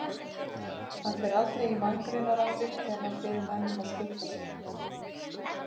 Hann fer aldrei í manngreinarálit þegar hann biður menn um að skutla sér.